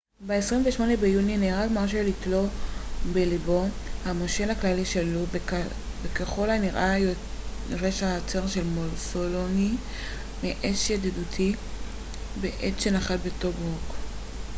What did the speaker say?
ב-28 ביוני נהרג מרשל איטלו בלבו המושל הכללי של לוב וככל הנראה יורש העצר של מוסוליני מאש ידידותית בעת שנחת בטוברוק